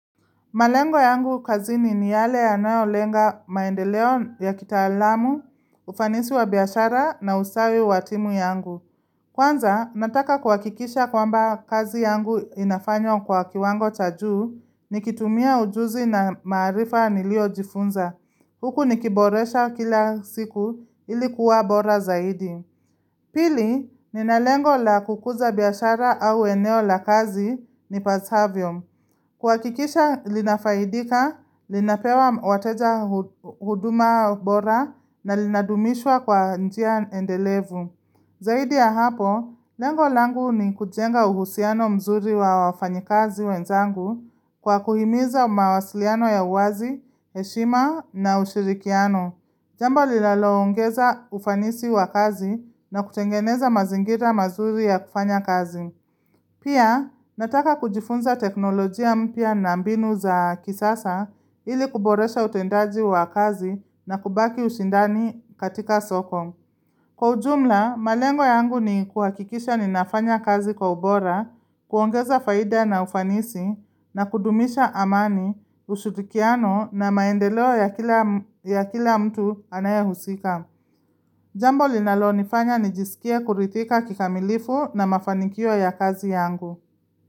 Malengo yangu kazini ni yale yanayolenga maendeleo ya kitaalamu, ufanisi wa biashara na usawi wa timu yangu. Kwanza, nataka kuhakikisha kwamba kazi yangu inafanywa kwa kiwango cha juu nikitumia ujuzi na maarifa niliojifunza. Huku nikiboresha kila siku, ili kuwa bora zaidi. Pili, ninalengo la kukuza biashara au eneo la kazi nipasavyo. Kuhakikisha linafaidika, linapewa wateja, huduma bora na linadumishwa kwa njia endelevu. Zaidi ya hapo, lengo langu ni kujenga uhusiano mzuri wa wafanyikazi wenzangu kwa kuhimiza mawasiliano ya uwazi, heshima na ushirikiano. Jambo linalo ongeza ufanisi wa kazi na kutengeneza mazingira mazuri ya kufanya kazi. Pia, nataka kujifunza teknolojia mpya na mbinu za kisasa ili kuboresha utendaji wa kazi na kubaki ushindani katika soko. Kwa ujumla, malengo yangu ni kuhakikisha ninafanya kazi kwa ubora, kuongeza faida na ufanisi, na kudumisha amani, ushirikiano na maendeleo ya kila mtu anayehusika. Jambo linalonifanya nijisikie kuridhika kikamilifu na mafanikio ya kazi yangu.